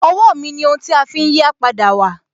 Owó mi ni ohun tí a fi ń yí à padà wà.